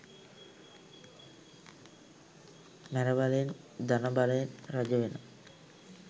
මැරබලයෙන් ධන බලයෙන් රජවෙන